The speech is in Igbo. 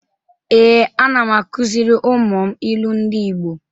Ee, ana m akụzịrị ụmụ m ilu ndị Igbo